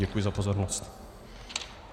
Děkuji za pozornost.